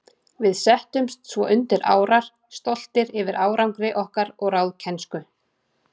Við settumst svo undir árar, stoltir yfir árangri okkar og ráðkænsku.